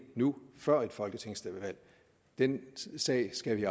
nu før et folketingsvalg den sag skal vi